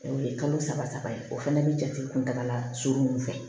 O ye kalo saba saba ye o fana bɛ jate kuntagala surun ninnu fɛ